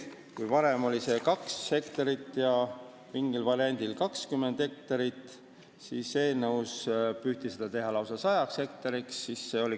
Kui varem eeldas see 2 hektarit ja mingis variandis 20 hektarit, siis eelnõus püüti seda teha lausa 100 hektariks.